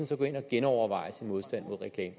så gå ind og genoverveje sin modstand mod reklamer